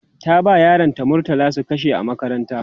ta ba yaran ta murtala su kashe a makaranta